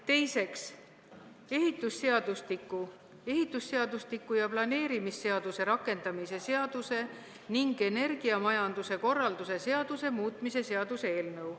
Teiseks, ehitusseadustiku, ehitusseadustiku ja planeerimisseaduse rakendamise seaduse ning energiamajanduse korralduse seaduse muutmise seaduse eelnõu.